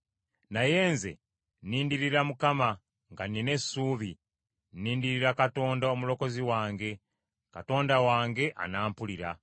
Naye nze nnindirira Mukama nga nnina essuubi, nnindirira Katonda Omulokozi wange; Katonda wange anampulira.